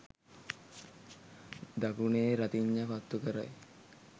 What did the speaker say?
දකුණේ රතිඤ්ඤා පත්තු කරයි